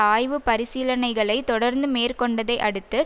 ஆய்வு பரிசீலனைகளை தொடர்ந்து மேற்கொண்டதை அடுத்து